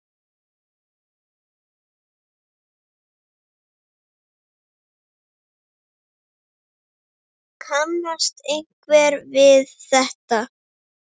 Kannast einhver við þetta?